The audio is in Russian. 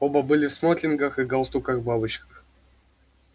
оба были в смокингах и галстуках-бабочках